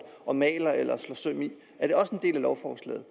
og maler eller slår søm i er det også en del af lovforslaget